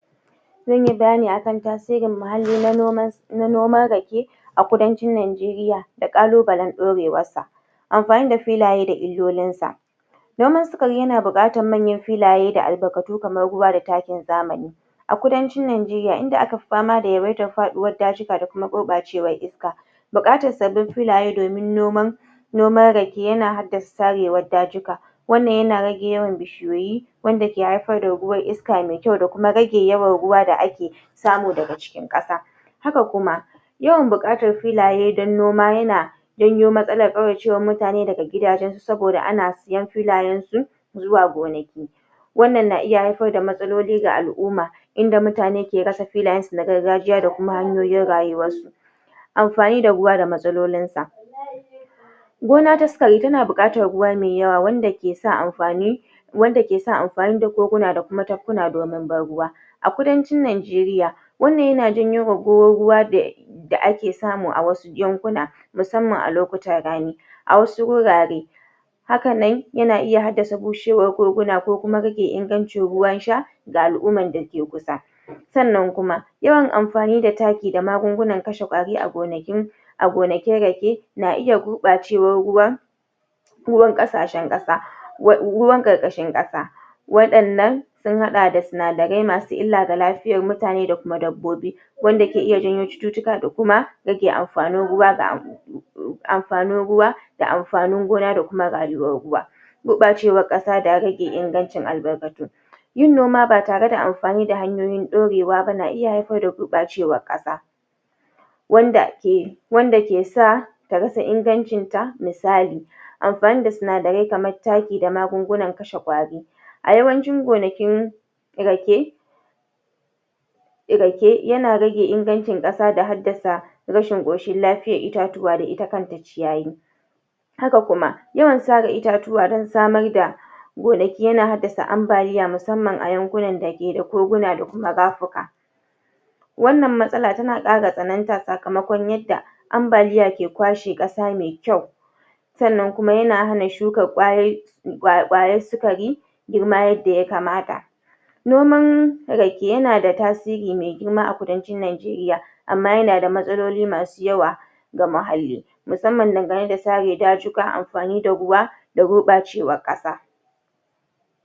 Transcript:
Zanyi bayani akan tasirin mahalli na noman na noman rake a kudancin Najeriya da kalubalan ɗorewar sa. Amfani da filaye da illolin sa, noman sikari yana biƙatan manyan filaye da albarkatu kaman ruwa da takin zamani a kudancin Najeriya inda aka fi fama da yawaitan faɗiwan dajika da kuma gurɓacewan iska buƙatar sabbin filaye domin noman noman rake yana haddasa tarewan dajika wannan yana rage yawan bishiyoyi, wanda ke haifar da ruwan iska mai ƙyau da kuma rage yawan ruwa da ake samu daga cikin ƙasa. Haka kuma, yawan buƙatan filaye dan noma yana janyo matsalar kauracewan mutane daga gidajan su saboda ana siyan filayan su s zuwa gonaki. Wannan na iya haifar da matsaloli ga al'uma inda mutane ke rasa filayan su na gargajiya da kuma hanyoyin rayuwa. Amfani da ruwa da matsalolin sa, gona ta sikari tana buƙatar ruwa mai yawa wanda ke sa amfani wadda ke sa amfani da gurguna da kuma tafkuna domin ban ruwa a kudancin Najeriya. Wannan yana janyowa da da ake samu a wasu yankuna musamman a lokutan rani a wasu wurare. Haka nan yana iya haddasa bushewar gurguna ko kuma rage ingancin ruwan sha ga al'uman dake kusa. Sannan kuma, yawan amfani da taki da magungunan kashe ƙwari a gonakin a gonakin rake na iya gurɓacewan ruwa ruwan kasashen ƙasa ruwan ƙarƙashin ƙasa wadannan sun haɗa da sinadarai masu illa da lafiyar mutane da kuma dabbobi wanda ke iya janyo cututtuka da kuma rage amfanin ruwa ga amfanin ruwa da amfanin gona da kuma rayuwar ruwa. Guracewar ƙasa da rage ingancin albarkatu, yin noma ba tare da amfani da hanyoyin ɗorewa ba na iya haifar da gurɓacewar ƙasa wanda ke wanda ke sa ta rasa ingancin sa misali amfani da sinadarai kaman taki da magungunan kashe kwari. A yawancin gonakin rake rake, yana rage ingancin ƙasa da haddasa rashin ƙoshin lafiyan itatuwa da ita kanta ciyayi. Haka kuma yawan sara itatuwa dan samar da gonaki yana haddasa ambaliya musamman a yankunan da keda gurguna da kuma rapika wannan matsala tana kara tsananta sakamakon yadda ambaliya ke kwashe ƙasa mai ƙyau. Sannan kuma yana hana shukan ƙwayoyi ƙwayan sikari girma yadda ya kamata. Noman rake yana da tasiri mai girma a kudancin Najeriya amma yana da matsaloli masu yawa ga muhalli. Musamman dangane da sare dajukan amfani da ruwa, da gurɓacewan ƙasa